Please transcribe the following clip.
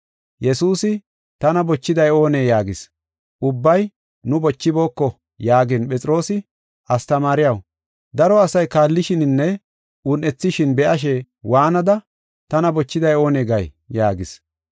Yesuusi, “Tana bochiday oonee?” yaagis. Ubbay, “Nu bochibooko” yaagin, Phexroosi, “Astamaariyaw, daro asay kaallishininne un7ethishin be7ashe waanada, ‘Tana bochiday oonee?’ gay” yaagis.